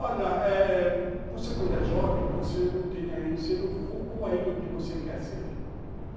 Olha, eh você quando é jovem, você não tem ainda, você não focou ainda o que você quer ser.